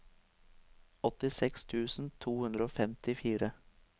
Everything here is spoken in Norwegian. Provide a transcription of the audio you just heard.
åttiseks tusen to hundre og femtifire